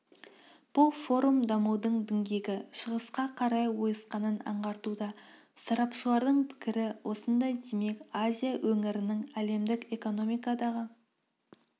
бұл форум дамудың діңгегі шығысқа қарай ойысқанын аңғартуда сарапшылардың пікірі осындай демек азия өңірінің әлемдік экономикадағы